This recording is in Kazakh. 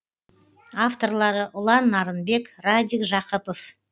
авторлары ұлан нарынбек радик жақыпов